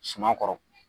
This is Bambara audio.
Suma kɔrɔ